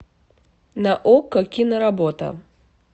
на окко киноработа